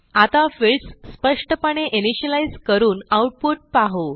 आता फील्ड्स स्पष्टपणे इनिशियलाईज करून आऊटपुट पाहू